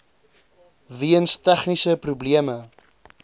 weens tegniese probleme